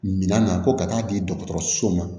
Minan na ko ka taa di dɔgɔtɔrɔsow ma